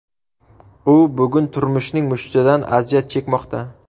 U bugun turmushning mushtidan aziyat chekmoqda.